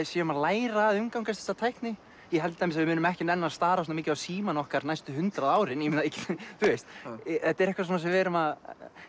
séum að læra að umgangast þessa tækni ég held að við munum ekki nenna að stara svona mikið á símana okkar næstu hundrað árin þetta er eitthvað sem við erum að